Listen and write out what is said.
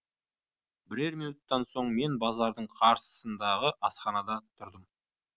бірер минуттан соң мен базардың қарсысындағы асханада тұрдым